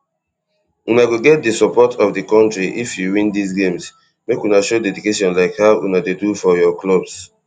una go get di support of di kontri if you win dis games make una show dedication like how una dey do for your clubs